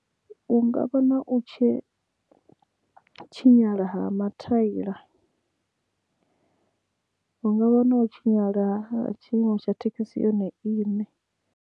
Hungavha na u tshi tshinyala ha mathaila hungavha na u tshinyala ha tshiimo tsha thekhisi yone iṋe.